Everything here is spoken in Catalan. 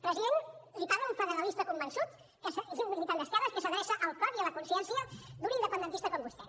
president li parla un federalista convençut i un militant d’esquerres que s’adreça al cor i a la consciència d’un independentista com vostè